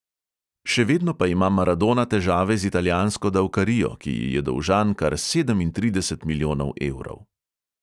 Še vedno pa ima maradona težave z italijansko davkarijo, ki ji je dolžan kar sedemintrideset milijonov evrov.